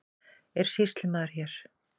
Er sýslumaður hér?